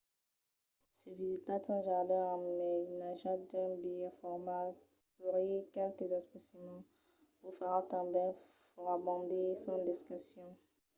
se visitatz un jardin amainatjat d'un biais formal culhir qualques especimèns vos farà tanben fòrabandir sens discussion